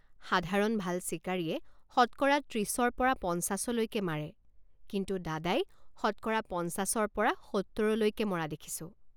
সাধাৰণ ভাল চিকাৰীয়ে শতকৰা ত্ৰিছৰ পৰা পঞ্চাছলৈকে মাৰে কিন্তু দাদাই শতকৰা পঞ্চাছৰ পৰা সত্তৰলৈকে মাৰা দেখিছোঁ।